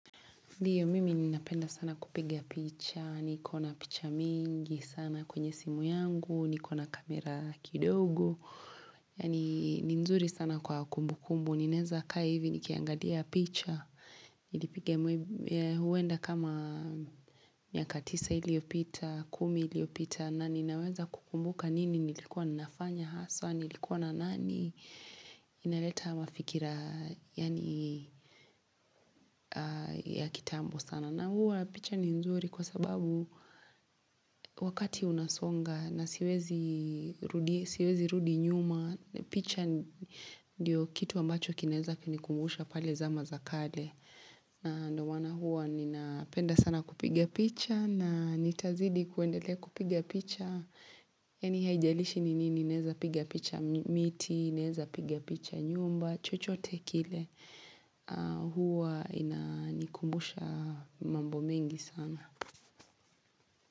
Ndiyo, mimi ninapenda sana kupiga picha, nikona picha mingi sana kwenye simu yangu, nikona kamera kidogo. Yaani, ninzuri sana kwa kumbu kumbu. Ninaeza kaa hivi, nikiangalia picha. Nilipiga huenda kama miaka tisa iliyopita, kumi iliyopita, na ninaweza kukumbuka nini, nilikuwa na nafanya haswa, nilikuwa na nani. Inaleta mafikira, yaani, ya kitambo sana. Na huwa picha ni nzuri kwa sababu wakati unasonga na siwezi rudi nyuma. Picha ndiyo kitu ambacho kinaweza kuni kumbusha pale zama za kale. Na ndo maana huwa ninapenda sana kupiga picha na nitazidi kuendele kupiga picha. Yaani haijalishi ni nini naeza piga picha miti, naeza piga picha nyumba, chochote kile. Huwa ina nikumusha mambo mengi sana.